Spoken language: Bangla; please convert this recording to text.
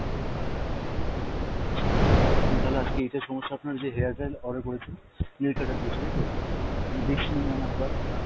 আচ্ছা, আ~ আপনি তালে আজকে এইটা সমস্যা আপনার যে hair dryer order করেছেন, nail cutter দিয়েছে, তাই তো? আমি দেখছি ma'am একবার আপনার,